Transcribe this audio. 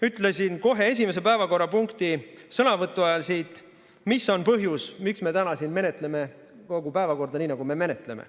Ütlesin kohe esimese päevakorrapunkti sõnavõtu ajal siit, mis on põhjus, miks me täna siin menetleme kogu päevakorda nii, nagu me menetleme.